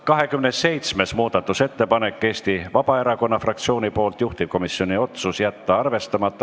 27. muudatusettepanek on Eesti Vabaerakonna fraktsioonilt, juhtivkomisjoni otsus: jätta arvestamata.